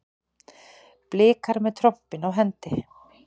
Blikar með trompin á hendi